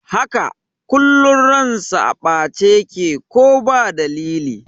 Haka, kullum ransa a ɓace yake ko ba dalili